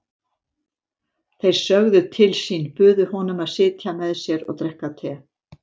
Þeir sögðu til sín, buðu honum að sitja með sér og drekka te.